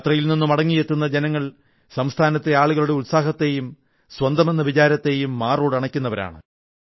യാത്രയിൽ നിന്ന് മടങ്ങിയെത്തുന്ന ജനങ്ങൾ സംസ്ഥാനത്തെ ആളുകളുടെ ഉത്സാഹത്തെയും സ്വന്തമെന്ന വിചാരത്തെയും മാറോടണയ്ക്കുന്നവരാണ്